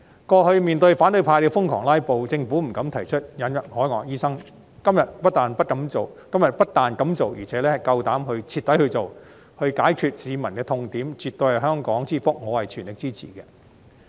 過去面對反對派瘋狂"拉布"，政府不敢提出引入海外醫生，今天不但敢做，而且夠膽徹底去做，解決市民的痛點，絕對是香港之福，我全力支持。